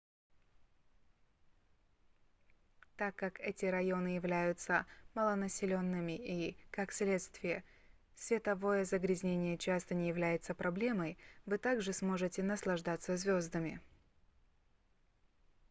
так как эти районы являются малонаселенными и как следствие световое загрязнение часто не является проблемой вы также сможете наслаждаться звездами